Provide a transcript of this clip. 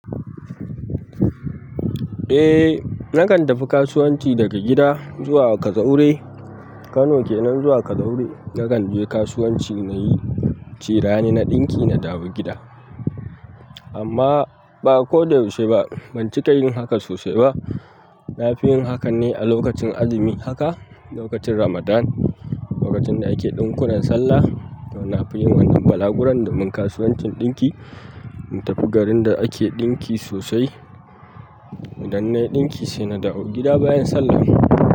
Eh, nakan tafi kasuwanci daga gida zuwa Kazaure. Kano kenan zuwa Kazaura. Nakan je kasuwanci na yi cirani na ɗinki, na dawo gida. Amma ba koda yaushe ba, ban cika yin haka sosai ba. Nafiyin hakan ne a lokacin azumi haka a lokacin ramdan. Lokacin da ake ɗinkunan sallah, to na fi yin wannan balaguron domin kasuwancin ɗinki, mu tafi garin da ake ɗinki sosai, idan na yi ɗinki sai na dawo gida bayan sallah.